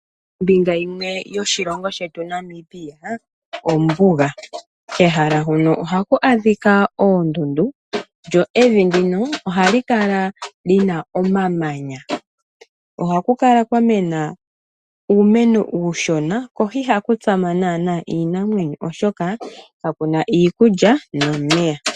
Ombinga yimwe yoshilongo shetu Namibia ombuga. Kehala huno ohaku adhika oondundu lyo evi ndino ohali kala lina omamanya . Ohaku kala kwamena uumeno uushona . Ko ihaku tsama naanaa iinamwenyo oshoka kakuna iikulya nomeya.